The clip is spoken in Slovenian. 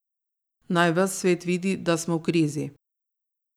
Naj ves svet vidi, da smo v krizi.